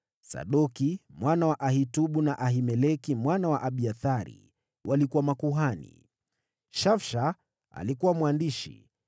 Sadoki mwana wa Ahitubu na Ahimeleki mwana wa Abiathari walikuwa makuhani; Shausha alikuwa mwandishi;